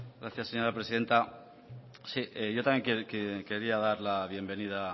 gracias señora presidenta yo también quería dar la bienvenida a